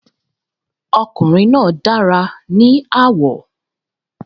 Ọkùnrin náà dára ní àwọ̀.